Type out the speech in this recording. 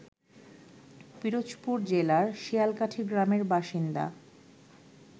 পিরোজপুর জেলার শিয়ালকাঠী গ্রামের বাসিন্দা